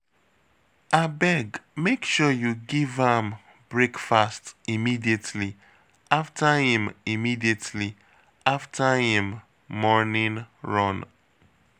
Abeg make sure you give am breakfast immediately after im immediately after im morning run